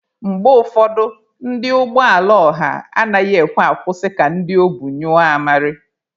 Mgbe ụfọdụ, ndị ụgbọ ala ọha anaghị ekwe akwụsị ka ndị obu nyụọ amarị.